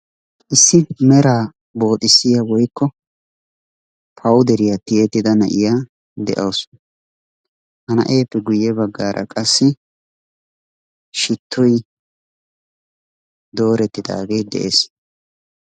Issi meraa booxxissiya woykko pawuderiya tiyettida na'iyaa de'awusu. Ha na'eeppe guye bagaara qassi shittoy doorettidagee de'ees.